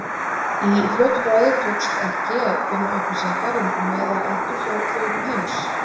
Í fljótu bragði tókst ekki að finna upplýsingar um meðalaldur hjá þjóðum heims.